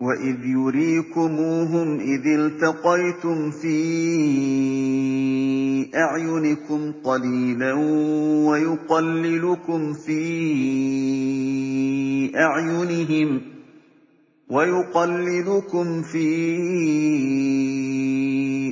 وَإِذْ يُرِيكُمُوهُمْ إِذِ الْتَقَيْتُمْ فِي أَعْيُنِكُمْ قَلِيلًا وَيُقَلِّلُكُمْ فِي